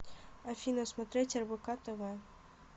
афина смотреть рбк тв